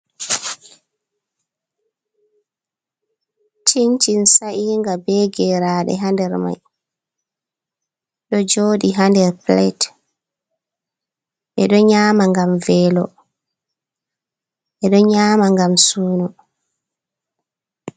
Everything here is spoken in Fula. Cincin sa’inga be geraɗe hander mai, ɗo joɗi hander pilet ɓeɗo nyama ngam velo, ɓeɗo ngam sunu.